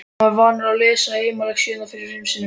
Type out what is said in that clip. Hann er vanur að lesa heimalexíurnar fimm sinnum yfir.